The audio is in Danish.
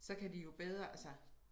Så kan de jo bedre altså